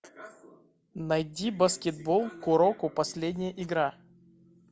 найди баскетбол куроко последняя игра